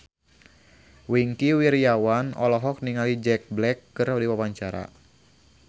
Wingky Wiryawan olohok ningali Jack Black keur diwawancara